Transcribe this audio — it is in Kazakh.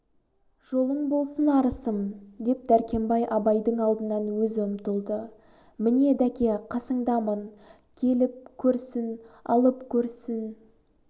жолың болсын арысым деп дәркембай абайдың алдынан өзі ұмтылды міне дәке қасындамын келіп көрсін алып көрсін